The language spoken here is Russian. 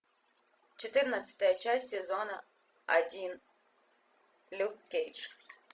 четырнадцатая часть сезона один люк кейдж